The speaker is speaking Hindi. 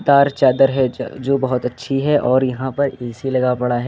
चार चादर है ज जो बहुत अच्छी है और यहां पर ऐ_सी लगा पड़ा है।